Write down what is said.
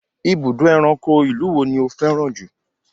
Ibùdó ẹranko ti ìlú wo ni ó fẹ́ràn jù?